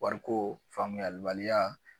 Wariko faamuyalibaliya